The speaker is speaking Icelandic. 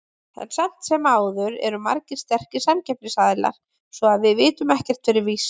En samt sem áður eru margir sterkir samkeppnisaðilar, svo að við vitum ekkert fyrir víst.